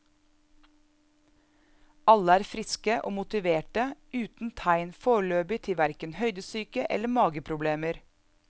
Alle er friske og motiverte uten tegn foreløpig til hverken høydesyke eller mage problemer.